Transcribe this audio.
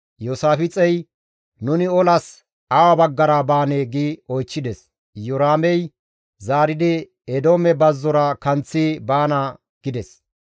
Iyoosaafixey, «Nuni olas awa baggara baanee?» gi oychchides. Iyoraamey zaaridi Eedoome bazzora kanththi baana gides.